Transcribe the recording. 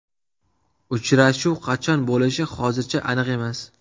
Uchrashuv qachon bo‘lishi hozircha aniq emas.